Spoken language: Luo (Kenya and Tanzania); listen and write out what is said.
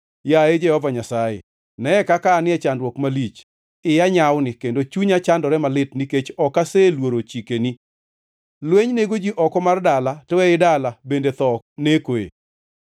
Yaye Jehova Nyasaye, nee kaka anie chandruok malich! Iya nyawni, kendo chunya chandore malich, nikech ok aseluoro chikeni. Lweny nego ji oko mar dala to ei dala bende tho nekoe.